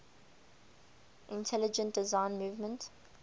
intelligent design movement